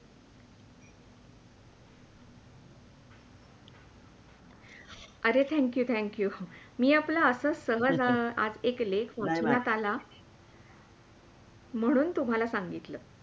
अरे Thank you, thank you मी आपला असाच सहज लेख वाचण्यात आला म्हणून तुम्हाला सांगितलं